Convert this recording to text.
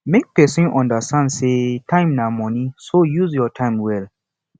make persin understand say time na money so use your time well